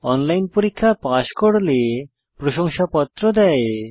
online পরীক্ষা pass করলে প্রশংসাপত্র দেয়